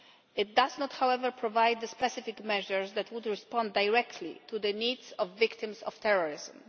It does not, however, provide the specific measures that would respond directly to the needs of victims of terrorism.